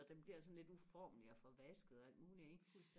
og den bliver sådan lidt uformlig og forvasket og alt muligt ikke